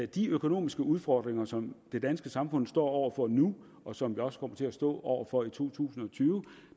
de økonomiske udfordringer som det danske samfund står over for nu og som det også kommer til at stå over for i to tusind og tyve